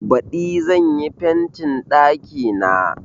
Baɗi zan yi fentin ɗakina.